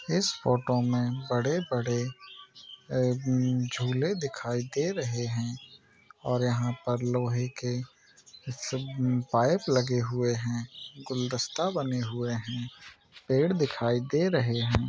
इस फोटो मे बड़े बड़े अ झूले दिखाई दे रहे है और यहाँ पर लोहे के सब पाइप लगे हुए है गुलदस्ता बने हुए है पेड़ दिखाई दे रहे है।